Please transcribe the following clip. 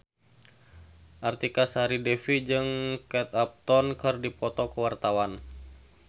Artika Sari Devi jeung Kate Upton keur dipoto ku wartawan